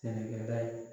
Sɛnɛkɛla ye